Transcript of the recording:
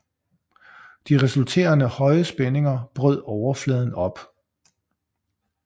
De resulterende høje spændinger brød overfladen op